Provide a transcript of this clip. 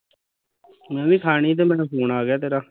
ਮੈਂ ਵੀ ਖਾਣੀ ਤੇ ਮੈਂਨੂੰ ਫੁਨ ਆ ਗਿਆ ਤੇਰਾ